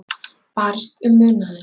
Barist um munaðinn